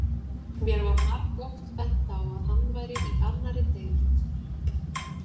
Mér var margoft bent á að hann væri í annarri deild.